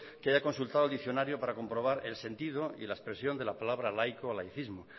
que haya consultado al diccionario para comprobar el sentido y la expresión de la palabra laico o laicismo